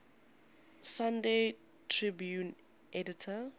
sunday tribune editor